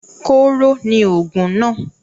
Kóro ni òògùn náà.